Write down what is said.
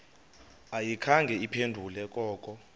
ayikhange iphendule koko